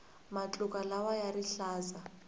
matluka lawaiya rihlaza